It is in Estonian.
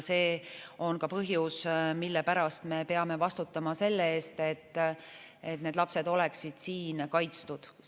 See on ka põhjus, mille pärast me peame vastutama selle eest, et need lapsed oleksid siin kaitstud.